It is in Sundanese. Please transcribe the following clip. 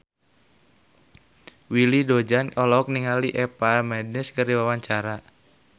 Willy Dozan olohok ningali Eva Mendes keur diwawancara